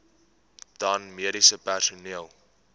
dan mediese personeel